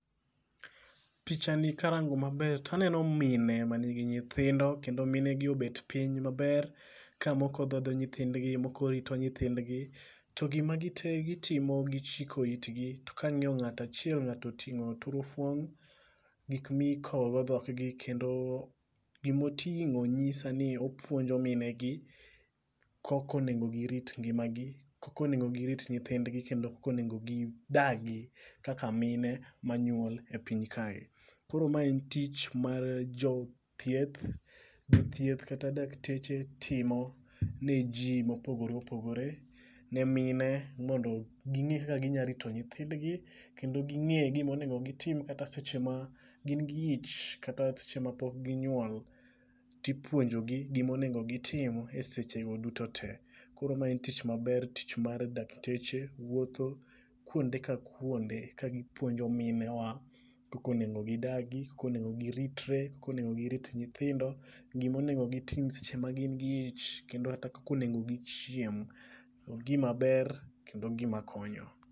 Picha ni karango maber taneno mine manigi nyithindo kendo mine gi obed piny maber ka moko dhodho nyithindgi moko rito nyithindgi to gima gitimo gichiko itgi. To ka ng'iyo ng'ata achiel ng'ato ting'o turufuong' gik mikowo go dhok gi kendo gimoting'o nyisa ni opuonjo mine gi kokonego girit ngimagi, koko onego girit nyithindgi kendo kako nego gidagi kaka mine manyuol e piny kae. Koro mae en tich mar jothieth, jothieth kata dakteche timo ne jii mopogore opogore ne mine mondo ging'e kaka ginya rito nyithindgi kendo ging'e gimonego gitim kata seche ma gin gi ich kata seche ma pok ginyuol tipuonjo gi gimonego gitim e seche go duto tee. Koro mae e tich maber tich mar dakteche wuotho kuonde ka kuonde ka gipuonjo minewa kaka onego gidagi, kaka onego giritre, kata onego girit nyithindo, gima onego gitim seche ma gin gi ich kendo kako nego gichiem. Ogima ober kendo ogima konyo.